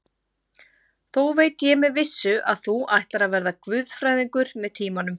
Þó veit ég með vissu, að þú ætlar að verða guðfræðingur með tímanum.